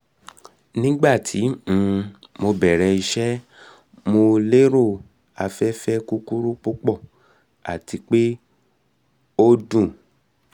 nigbati um mo bẹrẹ iṣẹ mo lero afẹfẹ kukuru pupọ ati pe o o dun